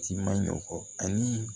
Ci maɲɔfɔ ani